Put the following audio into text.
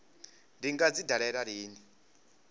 ndi nga dzi dalela lini